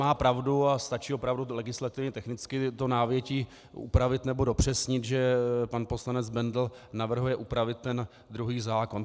Má pravdu a stačí opravdu legislativně technicky to návětí upravit nebo dopřesnit, že pan poslanec Bendl navrhuje upravit ten druhý zákon.